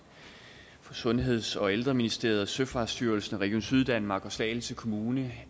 i sundheds og ældreministeriet søfartsstyrelsen region syddanmark og slagelse kommune